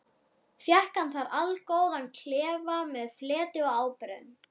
Fékk hann þar allgóðan klefa með fleti og ábreiðum.